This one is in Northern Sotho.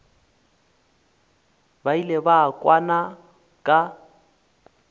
ba ile ba kwana ka